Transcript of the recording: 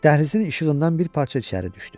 Dəhlizin işığından bir parça içəri düşdü.